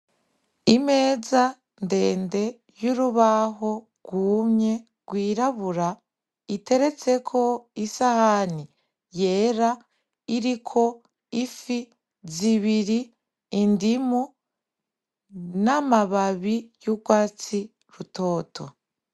Imeza ndende y'urubaho rwumye rw'irabura iteretseko isahani yera iriko ifi zibiri indimu n'amabababi y'urwatsi rutoto.